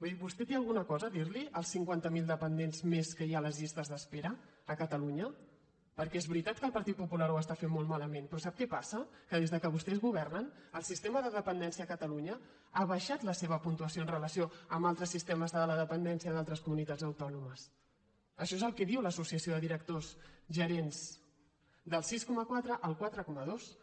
vull dir vostè té alguna cosa a dir·los als cinquanta miler dependents més que hi ha a les llistes d’espera a catalunya perquè és veritat que el partit popular ho està fent molt malament però sap què passa que des que vostès governen el sistema de dependència a catalunya ha baixat la seva puntuació en relació amb altres sistemes de la dependència d’al·tres comunitats autònomes això és el que diu l’asso·ciació de directors gerents del sis coma quatre al quatre coma dos